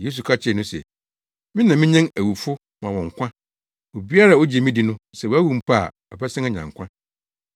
Yesu ka kyerɛɛ no se, “Me na minyan awufo ma wɔn nkwa. Obiara a ogye me di no sɛ wawu mpo a ɔbɛsan anya nkwa.